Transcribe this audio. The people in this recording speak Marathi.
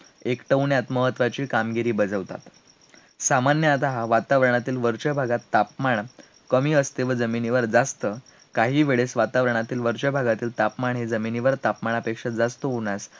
एकटवण्यात महत्त्वाची कामगिरी बजावतात, सामान्यतहा वातावरणातील वरच्या भागात तापमान कमी असते, व जमिनीवर जास्त, काही वेळेस वातावरणातील वरच्या भागातील तापमान, हे जमिनीवर तापमानापेक्षा जास्त होण्याचे